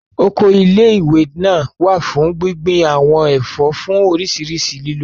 Oko ilé ìwé náà wà fún gbíngbin àwọn ẹ̀fọ́ fún oríṣiríṣi lílò